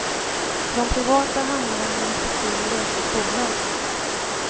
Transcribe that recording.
För de privata hamnar den i respektive läkares bolag.